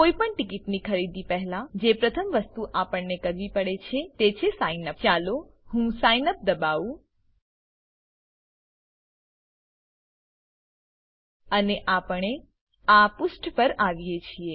કોઈપણ ટીકીટની ખરીદી પહેલા જે પ્રથમ વસ્તુ આપણને કરવી પડે છે તે છે સાઈનઅપ ચાલો હું સિગ્નઅપ દબાવું અને આપણે આ પુષ્ઠ પર આવીએ છીએ